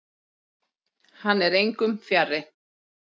Hann er engum fjarri.